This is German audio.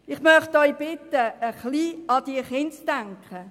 Ich möchte Sie bitten, an die Kinder zu denken.